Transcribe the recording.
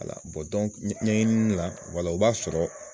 ɲɛɲinin de la, wala o b'a sɔrɔ.